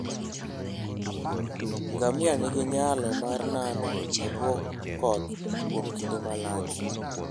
Ngamia nigi nyalo mar nano e bwo koth kuom kinde malach.